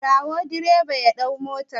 Ka kira direba ya ɗauki motar!